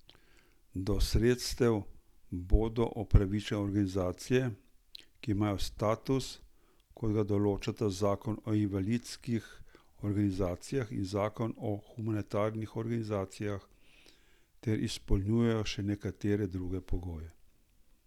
Do sredstev bodo upravičene organizacije, ki imajo status, kot ga določata zakon o invalidskih organizacijah in zakon o humanitarnih organizacijah, ter izpolnjujejo še nekatere druge pogoje.